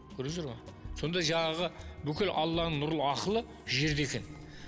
көрдіңіздер ме сонда жаңағы бүкіл алланың нұрлы ақылы жерде екен